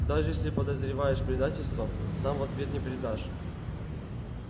даже если подозреваешь предательство сам в ответ не предаёшь